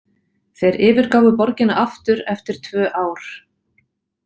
Þeir yfirgáfu borgina aftur eftir tvö ár.